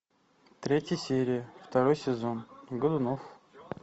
третья серия второй сезон годунов